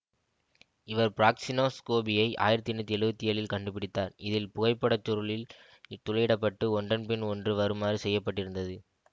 இவர் பிராக்ஸினோ ஸ்கோபியை ஆயிரத்தி எண்ணூற்றி எழுவத்தி ஏழில் கண்டுபிடித்தார் இதில் புகைப்படச் சுருளில் துரையிடப்பட்டு ஒன்றன் பின் ஒன்று வருமாறு செய்ய பட்டிருந்தது